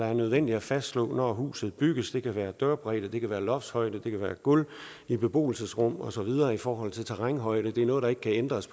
er nødvendigt at fastslå når huset bygges det kan være dørbredde det kan være loftshøjde det kan være gulv i beboelsesrum og så videre i forhold til terrænhøjde det er noget der ikke ændres